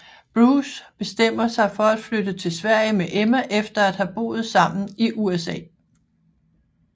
Bruce bestemmer sig for at flytte til Sverige med Emma efter at have boet sammen i USA